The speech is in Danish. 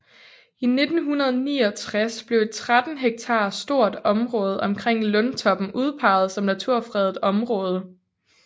I 1969 blev et 13 hektar stort område omkring Lundtoppen udpeget som naturfredet område